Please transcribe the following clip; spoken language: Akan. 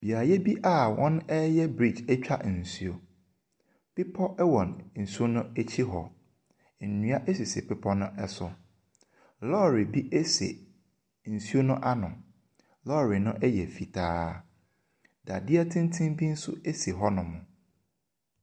Beaeɛ bi a wɔreyɛ brigdge atwa nsuo. Bepɔ wɔ nsuo no akyi hɔ. Nnua sisi bepɔ no so. Lɔɔre bi si nsuo no ano. Lɔɔre no yɛ fitaa. Dadeɛ tenten bi nso si hɔnom.